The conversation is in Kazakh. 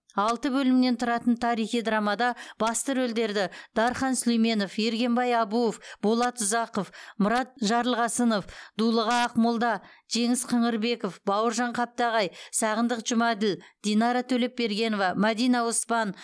алты бөлімнен тұратын тарихи драмада басты рөлдерді дархан сүлейменов ергенбай абуов болат ұзақов мұрат жарылқасынов дулыға ақмолда жеңіс қыңырбеков бауыржан қаптағай сағындық жұмаділ динара төлепбергенова мәдина оспан